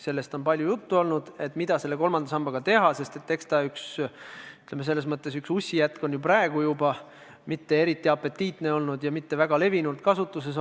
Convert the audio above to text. Sellest on palju juttu olnud, et mida kolmanda sambaga teha, sest eks ta üks, ütleme, ussjätke ole, mitte eriti apetiitne ja mitte väga laialdases kasutuses.